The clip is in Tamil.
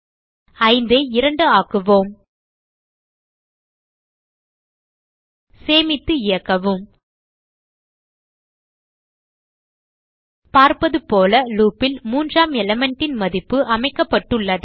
5 ஐ 2 ஆக்குவோம் சேமித்து இயக்கவும் பார்ப்பதுபோல லூப் ல் மூன்றாம் elementன் மதிப்பு அமைக்கப்பட்டுள்ளது